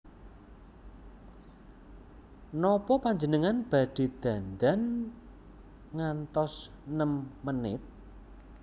Nopo panjenengan badhe dandan ngantos nem menit